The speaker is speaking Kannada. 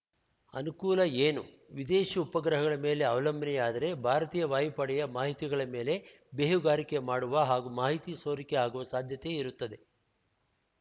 ಅನುಕೂಲ ಏನು ವಿದೇಶಿ ಉಪಗ್ರಹಗಳ ಮೇಲೆ ಅವಲಂಬನೆಯಾದರೆ ಭಾರತೀಯ ವಾಯುಪಡೆಯ ಮಾಹಿತಿಗಳ ಮೇಲೆ ಬೇಹುಗಾರಿಕೆ ಮಾಡುವ ಹಾಗೂ ಮಾಹಿತಿ ಸೋರಿಕೆ ಆಗುವ ಸಾಧ್ಯತೆ ಇರುತ್ತದೆ